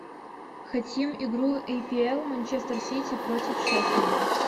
хотим игру апл манчестер сити против шеффилда